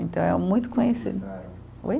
Então, é muito conhecido. Oi?